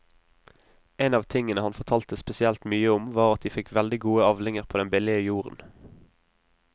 En av tingene han fortalte spesielt mye om var at de fikk veldig gode avlinger på den billige jorden.